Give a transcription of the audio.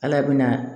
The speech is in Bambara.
Ala bɛna